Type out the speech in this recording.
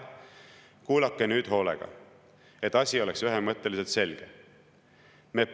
Kuulake nüüd hoolega, et asi oleks ühemõtteliselt selge!